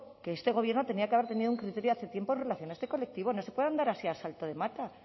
que este gobierno tendría que haber tenido un criterio hace tiempo en relación a este colectivo no se puede andar así a salto de mata